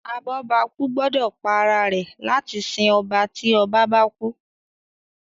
abobaku gbódò pá àrà rẹ láti sìn ọba tí ọba bá kú